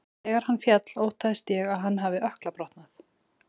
Þegar hann féll óttaðist ég að hann hafi ökkla brotnað.